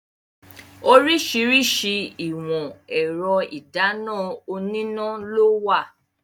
Oríṣiríṣi ìwọ̀n ẹ̀rọ ìdáná oníná lówà.